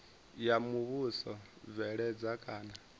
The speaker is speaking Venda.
ya muvhuso u bveledza kana